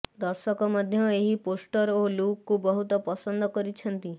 ଦର୍ଶକ ମଧ୍ୟ ଏହି ପୋଷ୍ଟର ଓ ଲୁକ୍କୁ ବହୁତ ପସନ୍ଦ କରିଛନ୍ତି